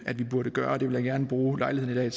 at vi burde gøre og det vil jeg gerne bruge lejligheden